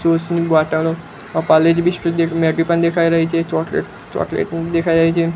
juice ની બોટલો અ પારલેજી બિસ્કિટ મેગી પણ દેખાય રહી છે ચોકલેટ ચોકલેટ દેખાય રહી છે